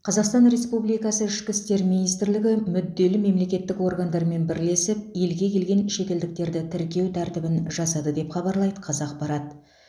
қазақстан республикасы ішкі істер министрлігі мүдделі мемлекеттік органдармен бірлесіп елге келген шетелдіктерді тіркеу тәртібін жасады деп хабарлайды қазақпарат